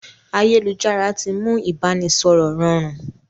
Ayélujára tí mú ibanisọrọ rọrùn